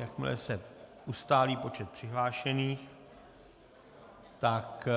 Jakmile se ustálí počet přihlášených, tak